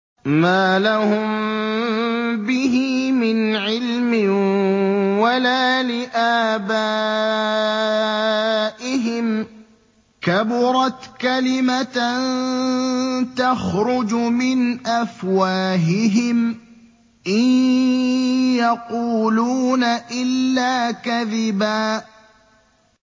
مَّا لَهُم بِهِ مِنْ عِلْمٍ وَلَا لِآبَائِهِمْ ۚ كَبُرَتْ كَلِمَةً تَخْرُجُ مِنْ أَفْوَاهِهِمْ ۚ إِن يَقُولُونَ إِلَّا كَذِبًا